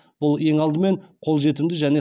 бұл ең алдымен қолжетімді және